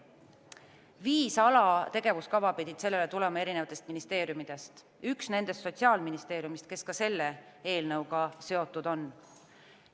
Viis alategevuskava pidid sellele tulema erinevatest ministeeriumidest, üks nendest Sotsiaalministeeriumist, kes ka selle eelnõuga seotud on.